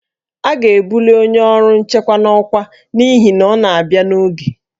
A ga-ebuli onye ọrụ nchekwa n'ọkwa n'ihi na ọ na-abịa n'oge